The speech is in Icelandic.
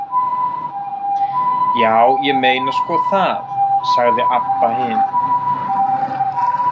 Já, ég meina sko það, sagði Abba hin.